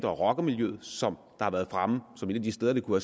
og rockermiljøet som har været fremme som et af de steder hvor